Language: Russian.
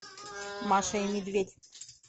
маша и медведь